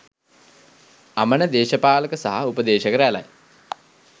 අමන දේශපාලක සහ උපදේශක රැලයි